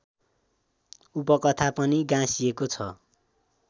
उपकथा पनि गाँसिएको छ